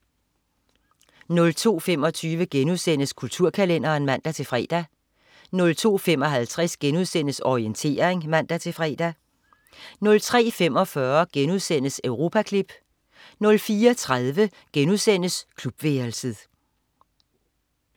02.25 Kulturkalenderen* (man-fre) 02.55 Orientering* (man-fre) 03.45 Europaklip* 04.30 Klubværelset*